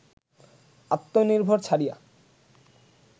আত্মনির্ভর ছাড়িয়া